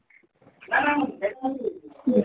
ଉଁ